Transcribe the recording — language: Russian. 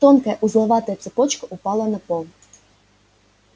тонкая узловатая цепочка упала на пол